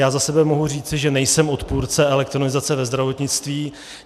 Já za sebe mohu říci, že nejsem odpůrce elektronizace ve zdravotnictví.